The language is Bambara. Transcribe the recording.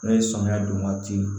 Ne ye sɔmiya don ka di yen